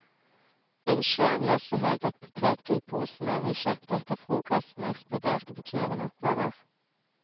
Innsjøen lå så høyt at potetgullposene vi kjøpte etter frokosten eksploderte på turen oppover.